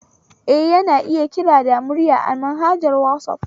Eh, ana iya kira da murya an=manhajar wasaf